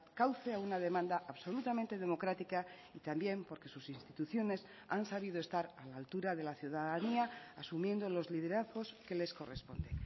cauce a una demanda absolutamente democrática y también porque sus instituciones han sabido estar a la altura de la ciudadanía asumiendo los liderazgos que les corresponde